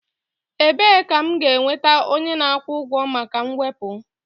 Ebee ka m ga-enweta onye na-akwụ ụgwọ maka mwepu?